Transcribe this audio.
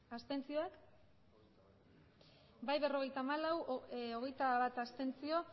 abstenzioak emandako botoak hirurogeita hamabost bai berrogeita hamalau abstentzioak